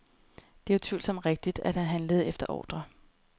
Det er utvivlsomt rigtigt, at han handlede efter ordre.